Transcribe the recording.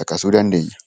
caqasuu dandeenya.